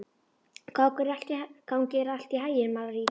Gangi þér allt í haginn, Marít.